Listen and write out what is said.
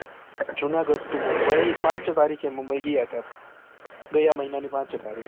Junagadh to Mumbai પાંચ તારીકે મુંબઈ ગયા હતા ગયા મહિના ની પાંચ તારીખે.